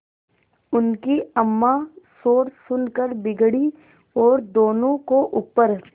उनकी अम्मां शोर सुनकर बिगड़ी और दोनों को ऊपर